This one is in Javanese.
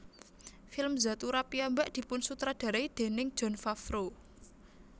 Film Zathura piyambak dipunsutradarai déning Jon Favreau